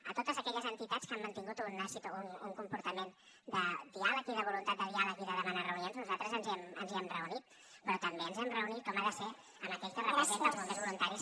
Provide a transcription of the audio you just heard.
a totes aquelles entitats que han mantingut un comportament de diàleg i de voluntat de diàleg i de demanar reunions nosaltres ens hi hem reunit però també ens hem reunit com ha de ser amb aquell que representa els bombers voluntaris